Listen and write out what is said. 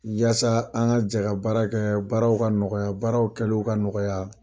Yasa an ka jɛ ka baara kɛ baaraw ka nɔgɔya baaraw kɛliw ka nɔgɔya.